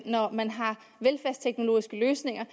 når man har velfærdsteknologiske løsninger